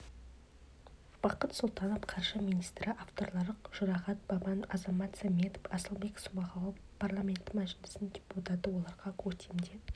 бақыт сұлтанов қаржы министрі авторлары жұрағат баман азамат саметов асылбек смағұлов парламенті мәжілісінің депутаты оларға көктемде